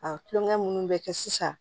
A tulonkɛ minnu bɛ kɛ sisan